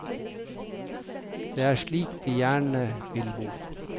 Det er slik de gjerne vil bo.